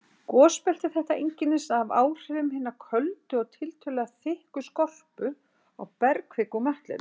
Gosbelti þetta einkennist af áhrifum hinnar köldu og tiltölulega þykku skorpu á bergkviku úr möttlinum.